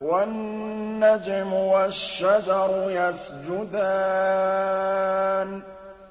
وَالنَّجْمُ وَالشَّجَرُ يَسْجُدَانِ